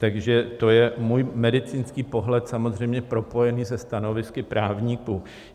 Takže to je můj medicínský pohled, samozřejmě propojený se stanovisky právníků.